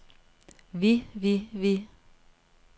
vi vi vi